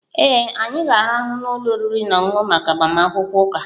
Ee.anyị ga-arahụ n'ụlọ oriri na ọṅụṅụ maka agbamakwụkwọ ụka